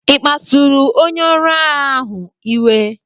Ị kpasuru onye ọrụ agha ahụ iwe?